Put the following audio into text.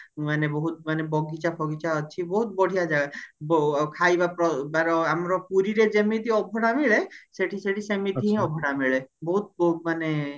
ମାନେ ବହୁତ ମାନେ ବଗିଚା ଫଗିଚାଅଛି ବହୁତ ବଢିଆ ଜାଗା ଖାଇବାର ଆମର ପୁରୀରେ ଯେମିତି ଅବଢା ମିଳେ ସେଠି ସେଠି ସେମିତିହିଁ ଅବଢା ମିଳେ ବହୁତ ବହୁତ ମାନେ